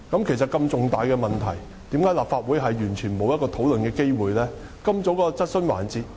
其實，如此重大的問題，為何立法會完全沒有討論的機會呢？